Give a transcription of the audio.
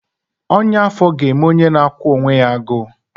Ọnya afọ ga-eme onye na-akwụ onwe ya agụụ